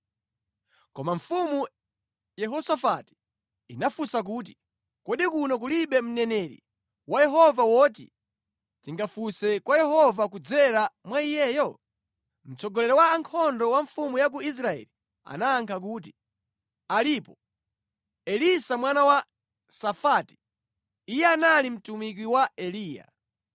Koma mfumu Yehosafati inafunsa kuti, “Kodi kuno kulibe mneneri wa Yehova woti tingakafunse kwa Yehova kudzera mwa iyeyo?” Mtsogoleri wa ankhondo wa mfumu ya ku Israeli anayankha kuti, “Alipo, Elisa mwana wa Safati. Iye anali mtumiki wa Eliya.”